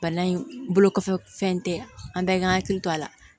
Bana in bolo kɔfɛ fɛn tɛ an bɛɛ hakili to a la